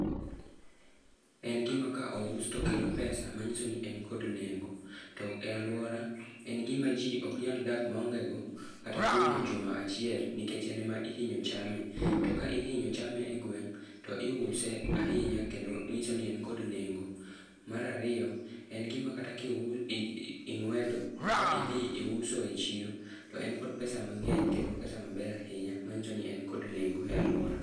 En gima ka ous to kelo pesa, manyisoni en kod nengo. To e alwora, en gima ji ok nyal dak ka ongego kata kuom juma achiel, nikech en ema ihinyo chame. To ka ihinyo chame e gweng, to iuse ahinya, kendo nyiso ni en kod nengo. Mar ariyo, en gima kata ing'wedo ba idhi iuso e chiro, to en kod pesa mangény kendo pesa maber ahinya. Manyiso ni en kod nengo e alwora.